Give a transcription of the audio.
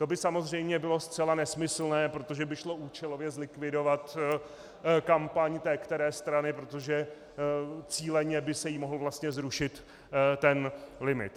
To by samozřejmě bylo zcela nesmyslné, protože by šlo účelově zlikvidovat kampaň té které strany, protože cíleně by se jí mohl vlastně zrušit ten limit.